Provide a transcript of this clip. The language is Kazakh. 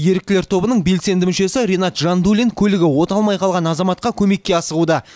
еріктілер тобының белсенді мүшесі ринат жандулин көлігі оталмай қалған азаматқа көмекке асығуда